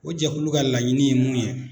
O jɛkulu ka laɲini ye mun ye ?